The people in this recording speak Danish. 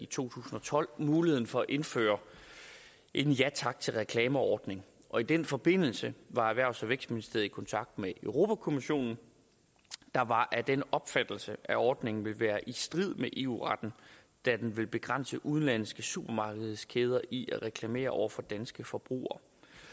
tusind og tolv muligheden for at indføre en ja tak til reklamer ordning og i den forbindelse var erhvervs og vækstministeriet i kontakt med europa kommissionen der var af den opfattelse at ordningen ville være i strid med eu retten da den ville begrænse udenlandske supermarkedskæder i at reklamere over for danske forbrugere